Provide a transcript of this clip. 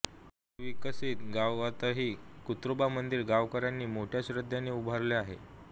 पुनर्वसित गावातही कुत्रोबा मंदिर गावकर्यांनी मोठ्या श्रध्देने उभारलेले आहे